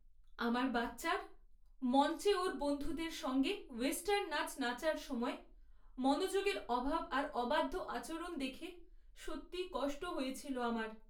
আমার বাচ্চার মঞ্চে ওর বন্ধুদের সঙ্গে ওয়েস্টার্ন নাচ নাচার সময় মনোযোগের অভাব আর অবাধ্য আচরণ দেখে সত্যিই কষ্ট হয়েছিল আমার।